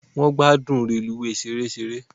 Won gbádùn reluwee ṣereṣere.